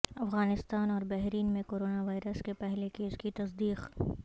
افغانستان اور بحرین میں corona virus کے پہلے کیس کی تصدیق